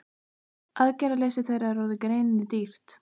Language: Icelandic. Aðgerðaleysi þeirra er þegar orðið greininni dýrt.